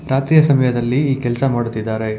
ರಾತ್ರಿಯ ಸಮಯದಲ್ಲಿ ಈ ಕೆಲ್ಸ ಮಾಡುತ್ತಿದ್ದಾರೆ.